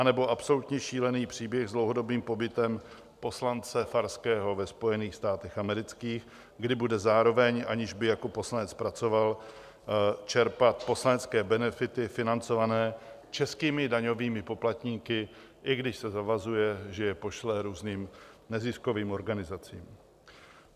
Nebo absolutně šílený příběh s dlouhodobým pobytem poslance Farského ve Spojených státech amerických, kde bude zároveň, aniž by jako poslanec pracoval, čerpat poslanecké benefity financované českými daňovými poplatníky, i když se zavazuje, že je pošle různým neziskovým organizacím.